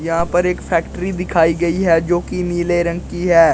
यहां पर एक फैक्ट्री दिखाई गई है जो की नीले रंग की है।